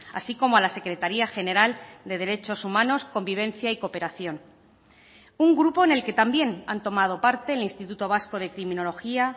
así como a la secretaría general de derechos humanos convivencia y cooperación un grupo en el que también han tomado parte el instituto vasco de criminología